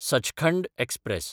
Sachkhand express